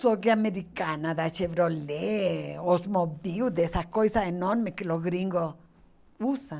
Só que americana da Chevrolet, Osmobil, dessas coisas enormes que os gringos usam.